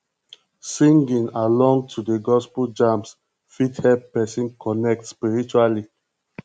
singing along to the gospel jams fit help person connect spiritually